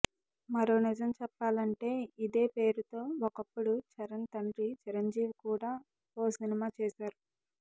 మరో నిజం చెప్పాలంటే ఇదే పేరుతొ ఒకప్పుడు చరణ్ తండ్రి చిరంజీవి కూడా ఓ సినిమా చేశారు